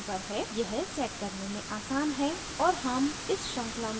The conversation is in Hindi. यह set करने में आसान है और हम इस श्रृंखला में इसे बाद में करेंगे